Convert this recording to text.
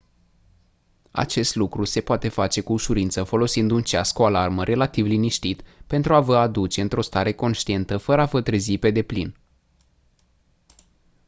acest lucru se poate face cu ușurință folosind un ceas cu alarmă relativ liniștit pentru a vă a aduce într-o stare conștientă fără a vă trezi pe deplin